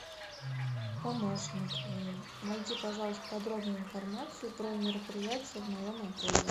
помощник найди пожалуйста подробную информацию про мероприятия в моем отеле